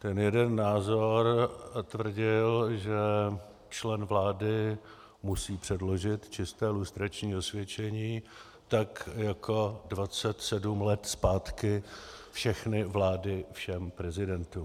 Ten jeden názor tvrdil, že člen vlády musí předložit čisté lustrační osvědčení, tak jako 27 let zpátky všechny vlády všem prezidentům.